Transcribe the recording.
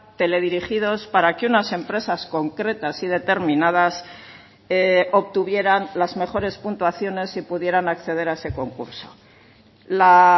teledirigidos para que unas empresas concretas y determinadas obtuvieran las mejores puntuaciones y pudieran acceder a ese concurso la